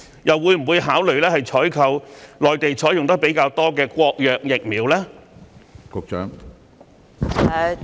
又會否考慮採購內地較多採用的國藥疫苗呢？